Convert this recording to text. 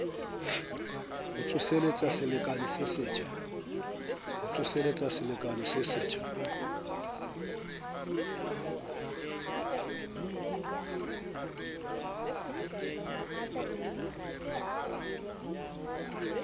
ho tsoseletsa selekane se setjha